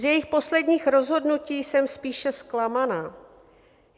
Z jejích posledních rozhodnutí jsem spíše zklamaná.